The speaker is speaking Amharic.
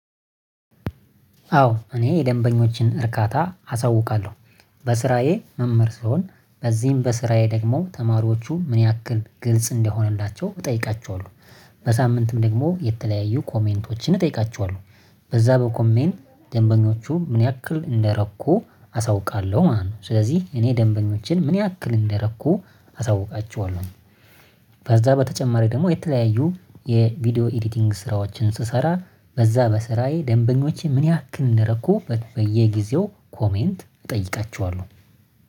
አዎ እኔ የደንበኞችን እርካታ አሳውቃለሁ። በስራዬ መምህር ስሆን በዚህም በስራዬ ደግሞ ተማሪዎቹ ምን ያክል ግልጽ እንደሆነላቸው እጠይቃቸዋለሁ። በሳምንትም ደግሞ የተለያዩ ኮሜንቶችን እጠይቃቸዋለሁ። በዛ በኮሜንት ደንበኞቹ ምን ያክል እንደረኩ አሳውቃለሁ ማለት ነው። ስለዚህ እኔ ደንበኞችን ምን ያክል እንደረኩ አሳውቃቸዋለሁ። ከዛ በተጨማሪ ደግሞ የተለያዩ የቪዲዮ ኤዲቲንግ ስራዎችን ስሰራ በዛ በስራዬ ደንበኞችን ምን ያክል እንደረኩ በየጊዜው ኮሜንት እጠይቃቸዋለሁ